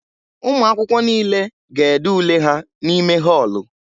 Ụmụ akwụkwọ niile ga-ede ule ha n'ime họọlụ.